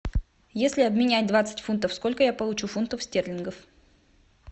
если обменять двадцать фунтов сколько я получу фунтов стерлингов